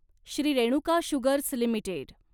Shri Renuka Sugars limited